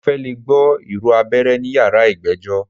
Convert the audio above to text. Mo fẹ́ lẹ̀ gbọ́ ìró abẹ́rẹ́ ní yàrá ìgbẹ́jọ́.